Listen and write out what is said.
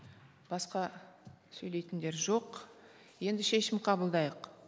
басқа сөйлейтіндер жоқ енді шешім қабылдайық